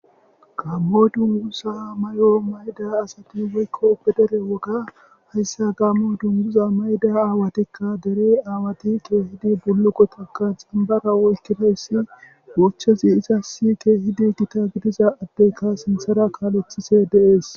Gammo dungusa may'o mayda asati woykko gedere woga hayssa gammo dunguza mayda aawatikka dere aawati keehidi bulugotaka xambarawu ikkidayssi gochchesi iza si keehidi gita gidiza addeykka sinthara kaalethise deees.